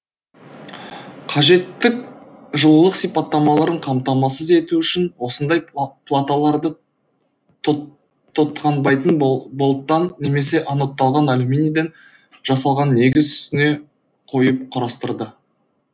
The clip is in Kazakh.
қажетті жылулық сипаттамаларын қамтамасыз ету үшін осындай платаларды тотганбайтын болаттан немесе анодталған алюминийден жасалған негіз үстіне қойып құрастырады